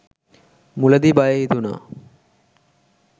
මුලදී බය හිතුණා